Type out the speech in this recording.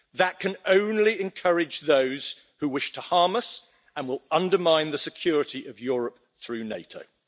That can only encourage those who wish to harm us and will undermine the security of Europe through NATO.